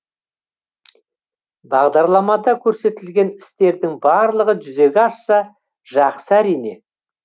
бағдарламада көрсетілген істердің барлығы жүзеге асса жақсы әрине